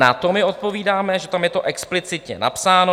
Na to my odpovídáme, že tam je to explicitně napsáno.